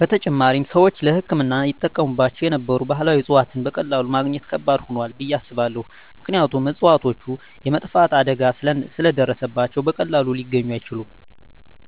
በተጨማሪም፣ ሰዎች ለሕክምና ይጠቀሙባቸው የነበሩ ባህላዊ እፅዋትን በቀላሉ ማግኘት ከባድ ሆኗል ብየ አስባለሁ። ምክንያቱም እፅዋቶቹ የመጥፋት አደጋ ስለ ደረሰባቸው በቀላሉ ሊገኙ አይችሉም።